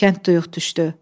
Kənd düyük düşdü.